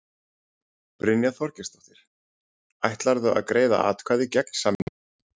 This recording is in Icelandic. Brynja Þorgeirsdóttir: Ætlarðu að greiða atkvæði gegn samningnum?